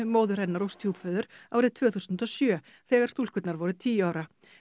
móður hennar og stjúpföður árið tvö þúsund og sjö þegar stúlkurnar voru tíu ára